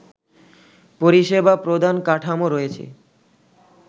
পরিসেবা প্রদান কাঠামো রয়েছে